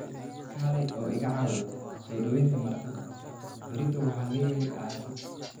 Kaalay oo iga caawi soo dhawaynta martida, berrito waxaan leeyahay aasid.